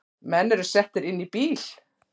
Menn eru settir inn í bíl